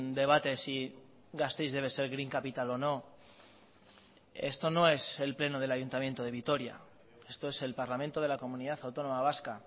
debate si gasteiz debe ser green capital o no esto no es el pleno delayuntamiento de vitoria esto es el parlamento de la comunidad autónoma vasca